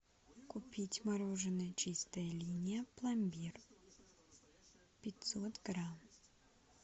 купить мороженое чистая линия пломбир пятьсот грамм